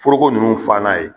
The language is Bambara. Foroko nunnu fa n'a ye.